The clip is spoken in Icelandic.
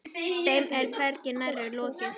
Þeim er hvergi nærri lokið.